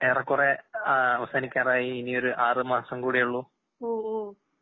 ഏറെക്കുറേ ആഹ് അവസാനിക്കാറായി ഇനിയൊരു ആറ്മാസംകൂടെയുള്ളു.